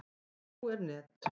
En nú er net.